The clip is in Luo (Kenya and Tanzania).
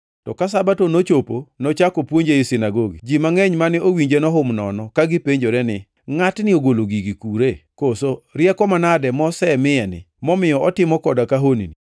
To ka Sabato nochopo nochako puonjo ei sinagogi. Ji mangʼeny mane owinje nohum nono, ka gipenjore ni, “Ngʼatni ogolo gigi kure? Koso rieko manade mosemiyeni, momiyo otimo koda ka honni?